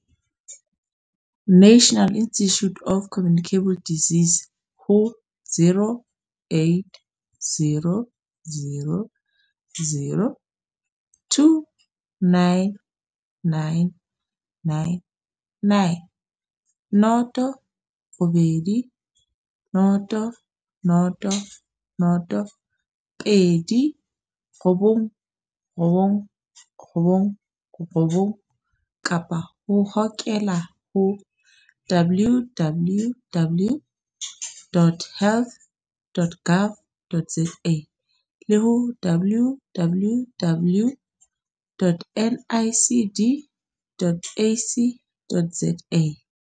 National Institute of Communicable Disease ho 0800 029 999 kapa o hokele ho www.health.gov.za le ho www.nicd.ac.za